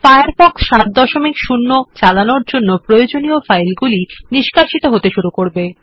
Firefox 70 চালানোর জন্য প্রয়োজনীয় ফাইলগুলি নিষ্কাশিত হতে শুরু করবে